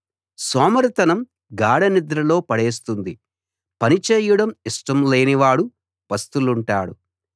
సోమరితనం గాఢనిద్రలో పడేస్తుంది పని చేయడం ఇష్టం లేని వాడు పస్తులుంటాడు